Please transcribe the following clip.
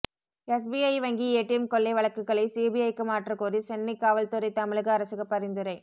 SBI வங்கி ATM கொள்ளை வழக்குகளை சிபிஐக்கு மாற்றக்கோரி சென்னை காவல்துறை தமிழக அரசுக்கு பரிந்துரை